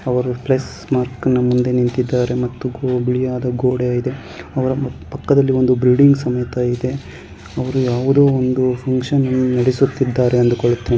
ಅವರು plus mark ಮುಂದೆ ನಿಂತಿದ್ದಾರೆ ಮತ್ತು ಬಿಳಿಯ ಗೋಡೆ ಇದೆ ಅವರ ಪಕ್ಕದಲ್ಲಿ ಒಂದು ಬಿಲ್ಡಿಂಗ್ ಸಹಿತ ಇದೆ ಅವರು ಯಾವುದೋ ಒಂದು ಫಂಕ್ಷನ್ ನಡೆಸುತ್ತಿದ್ದಾರೆ ಅಂದುಕೊಳ್ಳುತ್ತೇನೆ.